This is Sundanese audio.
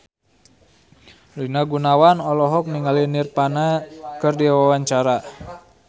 Rina Gunawan olohok ningali Nirvana keur diwawancara